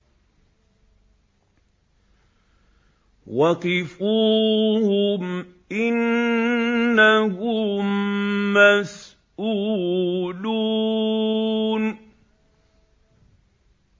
وَقِفُوهُمْ ۖ إِنَّهُم مَّسْئُولُونَ